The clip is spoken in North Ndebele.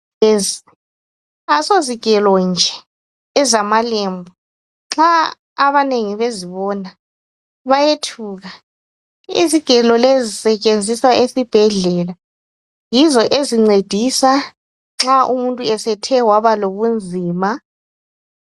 Lezi ayisozigele nje ezamalembu nxa abanengi bezibona bayethuka izigelo lezi sisetshenziswa esibhedlela yizo ezincedisa nxa umuntu esethe wabalobunzima.